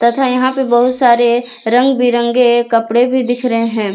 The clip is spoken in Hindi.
तथा यहां पे बहुत सारे रंग बिरंगे कपड़े भी दिख रहे हैं।